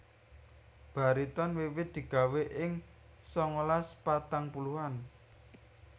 Bariton wiwit digawè ing sangalas patang puluhan